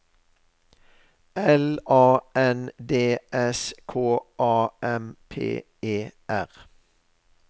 L A N D S K A M P E R